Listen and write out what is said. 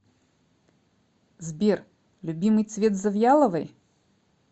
сбер любимый цвет завьяловой